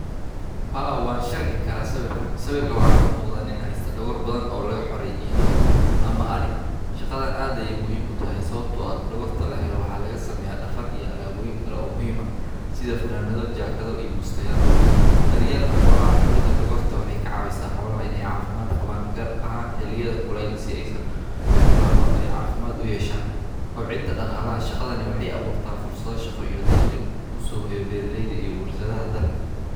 Haa wan sharxinkaraa sawirkan kalkan waxaa kamuqda nin hayo dogor badan o laga xore idho ama ari shaqadan aa ayey muhiim utahay waxaa laga sameya jakadho iyo bustayal kobcinta shaqalo waxee kobcisa daqalaha beera leyda uso hoyiyo daqli.